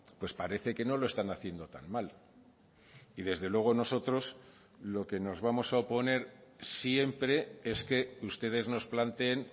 pues parece que no lo están haciendo tan mal y desde luego nosotros lo que nos vamos a oponer siempre es que ustedes nos planteen